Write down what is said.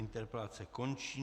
Interpelace končí.